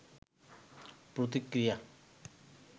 প্রতিক্রিয়া